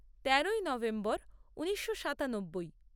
তেরোই নভেম্বর ঊনিশশো সাতানব্বই